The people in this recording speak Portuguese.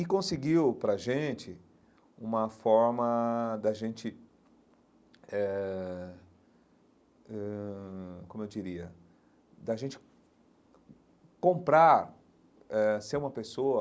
E conseguiu para a gente uma forma de a gente, eh ãh como eu diria, de a gente comprar eh, ser uma pessoa,